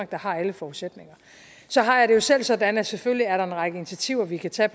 der har alle forudsætninger så har jeg det selv sådan at selvfølgelig er der en række initiativer vi kan tage